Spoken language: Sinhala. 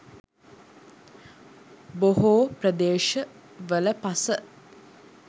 බොහෝ ප්‍රදේශවල පස